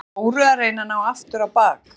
Er með klóru að reyna að ná aftur á bak.